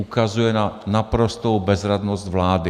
Ukazuje na naprostou bezradnost vlády.